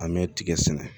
An bɛ tigɛ sɛnɛ